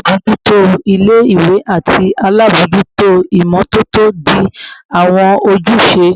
Alabojuto ile-iwe ati alabojuto imototo di awọn ojuse